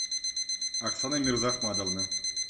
оксана мирзахматовна